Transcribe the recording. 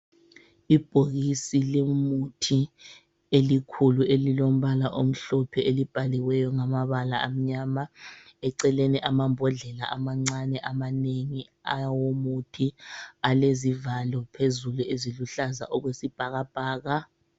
I bhokisi lemithi elikhulu elilombala omhlophe elibhaliweyo ngamabala amnyama. Eceleni amambodlela amancane amanengi awomuthi alezivalo phezulu eziluhlaza okwesibhakabhaka